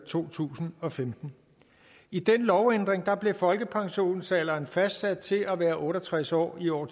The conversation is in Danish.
to tusind og femten i den lovændring blev folkepensionsalderen fastsat til at være otte og tres år i år